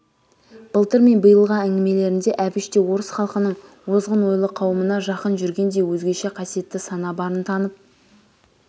былтыр мен биылғы әңгімелерінде әбіш те орыс халқының озғын ойлы қауымына жақын жүргендей өзгеше қасиетті сана барын танып